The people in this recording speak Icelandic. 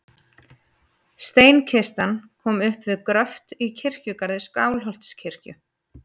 Steinkistan kom upp við gröft í kirkjugarði Skálholtskirkju.